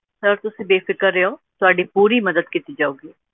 Sir ਤੁਸੀਂ ਬੇਫ਼ਿਕਰ ਰਹੀਓ, ਤੁਹਾਡੀ ਪੂਰੀ ਮਦਦ ਕੀਤੀ ਜਾਊਗੀ।